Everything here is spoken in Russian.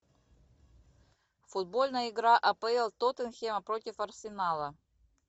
футбольная игра апл тоттенхэма против арсенала